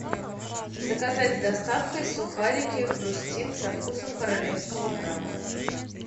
заказать с доставкой сухарики хрустим со вкусом королевского краба